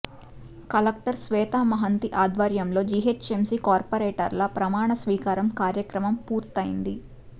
collector Shweta Mahanti అధ్వర్యంలో GHMC కార్పొరేటర్ల ప్రమాణ స్వీకారం కార్యక్రమం పూర్తయింది